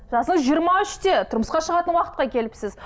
жасыңыз жиырма үште тұрмысқа шығатын уақытқа келіпсіз